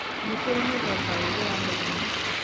Nĩ kũrĩ na mĩthemba ĩrĩ ya mĩrimũ.